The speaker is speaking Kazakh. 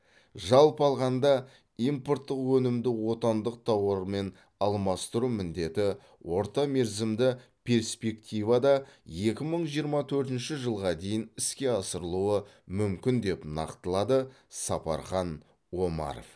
жалпы алғанда импорттық өнімді отандық тауармен алмастыру міндеті орта мерзімді перспективада екі мың жиырма төртінші жылға дейін іске асырылуы мүмкін деп нақтылады сапархан омаров